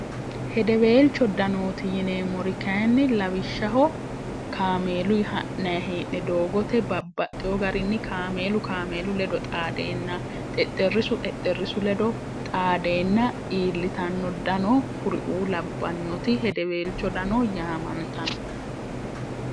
hedeweelcho danooti yineemmori kainni lawishshaho kaameelu ha'nahee'ne doogote babbaxxeho garinni kaameelu kaameelu ledo xaadeenna xexxerrisu xexxerrisu ledo xaadeenna iillitanno dano kuriuu labbannoti hedeweelcho dano yaamantano